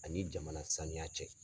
Ani jamana saniya cɛ.